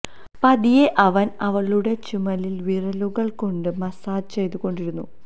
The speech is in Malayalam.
പതിയെ അവന് അവളുടെ ചുമലില് വിരലുകള് കൊണ്ട് മസ്സാജ് ചെയ്ത് കൊണ്ടിരുന്നു